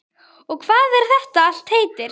Og hvað þetta allt heitir.